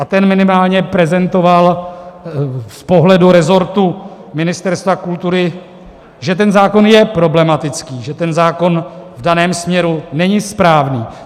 A ten minimálně prezentoval z pohledu rezortu Ministerstva kultury, že ten zákon je problematický, že ten zákon v daném směru není správný.